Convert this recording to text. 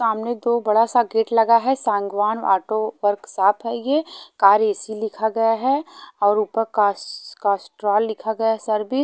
सामने दो बड़ा सा गेट लगा है सांगवान आटो वर्क शाप है ये कार ए_सी लिखा गया है और ऊपर कास कास्ट्रोल लिखा गया है सर्वी--